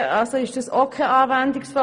Also ist das auch kein Anwendungsfall.